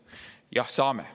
Jah, saame.